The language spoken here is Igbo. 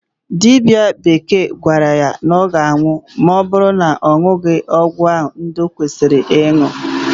Dibịa bekee gwara ya na ọ ga-anwụ ma ọ bụrụ na ọ ṅụghị ọgụ ndị o kwesịrị ịṅụ.